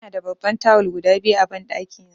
Ina da babban tawul guda biyu a banɗaki na.